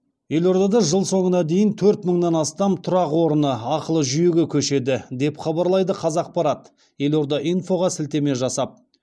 елордада жыл соңына дейін төрт мыңнан астам тұрақ орны ақылы жүйеге көшеді деп хабарлайды қазақпарат елорда инфоға сілтеме жасап